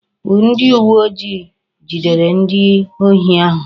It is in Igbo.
Ndi uwe ojii jidere ndi ohi ahu